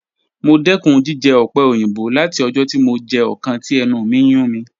Mo dẹkun jijẹ ope oyinbo lati ọjọ ti mo jẹ ọkan ti ẹnu mi n yun mi.